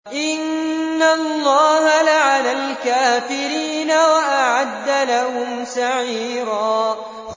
إِنَّ اللَّهَ لَعَنَ الْكَافِرِينَ وَأَعَدَّ لَهُمْ سَعِيرًا